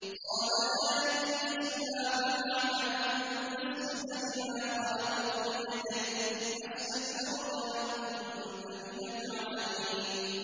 قَالَ يَا إِبْلِيسُ مَا مَنَعَكَ أَن تَسْجُدَ لِمَا خَلَقْتُ بِيَدَيَّ ۖ أَسْتَكْبَرْتَ أَمْ كُنتَ مِنَ الْعَالِينَ